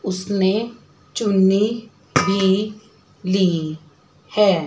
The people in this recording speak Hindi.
उसने चुन्नी भी ली है।